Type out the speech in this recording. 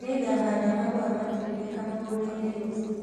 Nĩngahanda mahũa matune kamũgũnda-inĩ rũciũ